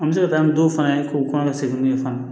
An bɛ se ka taa ni dɔw fana ye k'u kɔn ka segin n'u ye fana